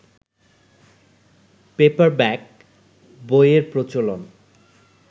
paperback বইয়ের প্রচলন